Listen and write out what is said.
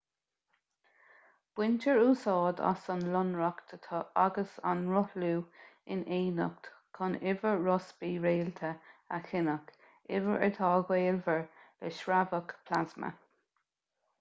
baintear úsáid as an lonracht agus an rothlú in éineacht chun uimhir rossby réalta a chinneadh uimhir atá gaolmhar le sreabhadh plasma